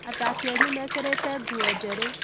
Athaki anyu mekĩrĩte nguo njerũ